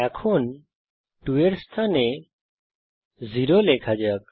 এখন 2 এর স্থানে 0 লেখা যাক